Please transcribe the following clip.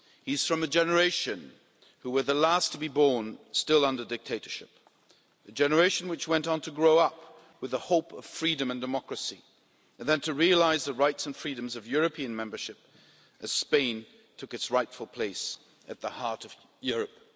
He is from a generation that was the last to be born under dictatorship, a generation that went on to grow up with the hope of freedom and democracy and then to realise the rights and freedoms of European membership, as Spain took its rightful place at the heart of Europe.